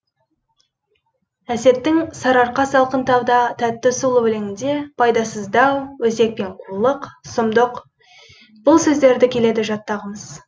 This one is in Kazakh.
әсеттің сарыарқа салқын тауда тәтті сулы өлеңінде пайдасыз дау өсек пен қулық сұмдық бұл сөздерді келеді жаттағымыз